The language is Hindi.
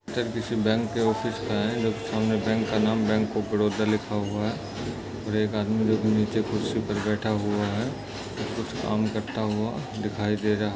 किसी बैंक के ओफ़िस् का है बैंक का नाम बैंक ऑफ़ बारोडा लिखा हुआ है और एक आदमी जो कि नीचे कुर्सी पर बैठा हुआ है जो कुछ काम करता हुआ दिखाई दे रहा ।